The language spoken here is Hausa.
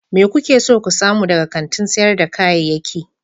Me kuke so ku samu daga kantin sayar da kayayyaki?